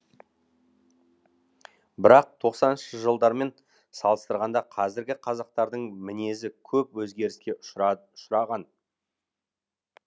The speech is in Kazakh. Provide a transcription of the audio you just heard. бірақ тоқсаныншы жылдармен салыстырғанда қазіргі қазақтардың мінезі көп өзгеріске ұшырад ұшыраған